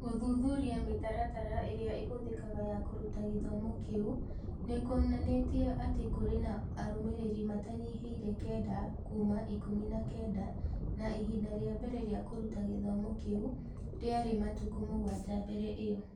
Gũthuthuria mĩtaratara ĩrĩa ĩhũthĩkaga ya kũruta gĩthomo kĩu nĩ kuonanĩtie atĩ kũrĩ na arũmĩrĩri matanyihiire kenda kuuma ikũmi na kenda na ihinda rĩa mbere rĩa kũruta gĩthomo kĩu rĩarĩ matukũ mũgwanja mbere ĩyo.